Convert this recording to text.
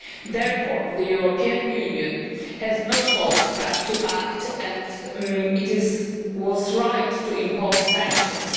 Therefore the European Union has no choice but to act, and it was right to impose sanctions.